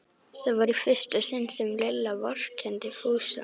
Þetta var í fyrsta sinn sem Lilla vorkenndi Fúsa.